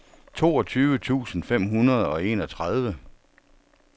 toogtyve tusind fem hundrede og enogtredive